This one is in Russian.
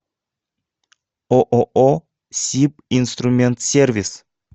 ооо сибинструментсервис